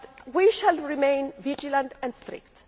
We shall remain vigilant and strict.